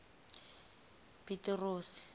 pitirosi